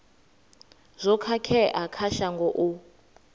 zwo khakhea kha shango u